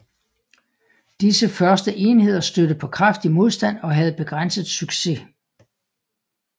Disse første enheder stødte på kraftig modstand og havde begrænset succes